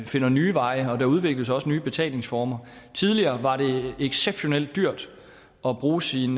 finder nye veje og der udvikles også nye betalingsformer tidligere var det exceptionelt dyrt at bruge sin